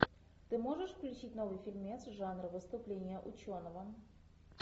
ты можешь включить новый фильмец жанр выступление ученого